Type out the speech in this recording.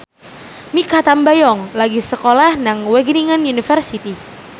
Mikha Tambayong lagi sekolah nang Wageningen University